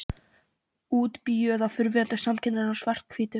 Útbíuð í fyrrverandi samkennara í svarthvítu.